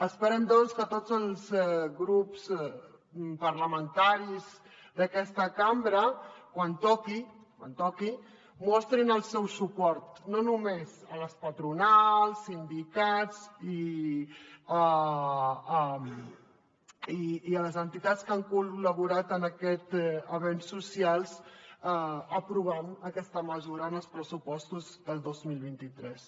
esperem doncs que tots els grups parlamentaris d’aquesta cambra quan toqui quan toqui mostrin el seu suport a les patronals sindicats i a les entitats que han col·laborat en aquest avenç social aprovant aquesta mesura en els pressupostos del dos mil vint tres